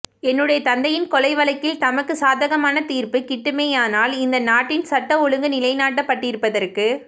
என்னுடைய தந்தையின் கொலை வழக்கில் தமக்கு சாதகமான தீர்ப்பு கிட்டுமேயானால் இந்த நாட்டில் சட்ட ஒழுங்கு நிலைநாட்டப்பட்டிருப்பதற்கு